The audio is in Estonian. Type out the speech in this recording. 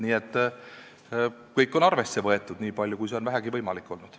Nii et kõik on arvesse võetud, nii palju kui see on vähegi võimalik olnud.